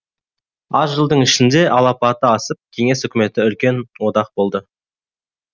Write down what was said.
аз жылдың ішінде алапаты асып кеңес үкіметі үлкен одақ болды